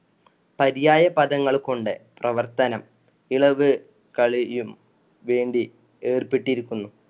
പര്യായ പദങ്ങള്‍ കൊണ്ട് പ്രവർത്തനം ഇളവ് കളിയും വേണ്ടി ഏർപ്പെട്ടിരിക്കുന്നു.